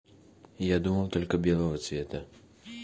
я думал только белого цвета